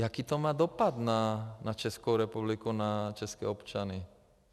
Jaký to má dopad na Českou republiku, na české občany?